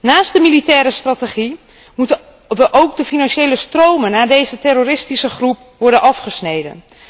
Naast de militaire strategie moeten ook de financiële stromen naar deze terroristische groep worden afgesneden.